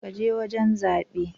Ka je wajen zabe.